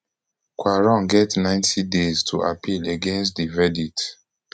quarong get ninety days to appeal against di verdict